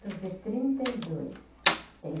e trinta e dois tenho.